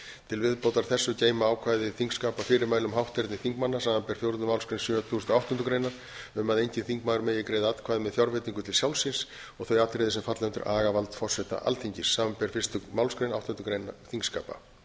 til viðbótar þessu geyma ákvæði þingskapa fyrirmæli um hátterni þingmanna samanber fjórðu málsgrein sjötugustu og áttundu grein um að enginn þingmaður megi greiða atkvæði með fjárveitingu til sjálfs sín og þau atriði sem falla undir agavald forseta alþingis samanber fyrstu málsgrein áttundu greinar þingskapa